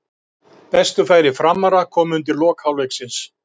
Bestu færi Framara komu undir lok hálfleiksins.